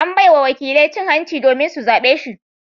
An bai wa wakilai cin hanci domin su zabe shi.